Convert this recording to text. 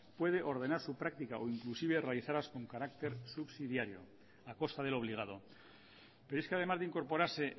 puede ordenar su práctica o inclusive realizarlas con carácter subsidiario a costa del obligado pero es que además de incorporarse